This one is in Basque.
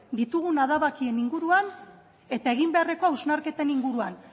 ditugun adabakien inguruan eta egin beharreko hausnarketen inguruan